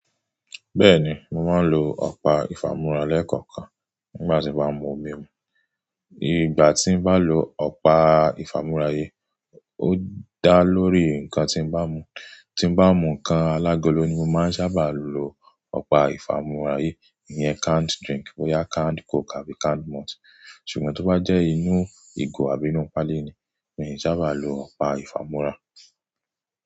Bẹ́ẹ̀ni, mo máa ń lo ọ̀pá ìfámúrá lẹ́ẹ̀kọ̀kan nígbà tí mo bá mu omi mu. Nígbà tí mo bá lo ọ̀pá ìfámúrá yìí, ó dá lórí nǹkan tí mo bá mu. Tí mo bá mu nǹkan alágolo ni mo máa ń sábà lo ọ̀pá ìfámúrá yìí, ìyẹn canned drink bóyá canned coke àbí canned malt. Ṣùgbọ́n tó bá jẹ́ inú ìgò àbí inú páálí ni, mi ò sábà lo ọ̀pá ìfámúrá.